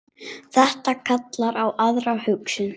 Þetta kallar á aðra hugsun.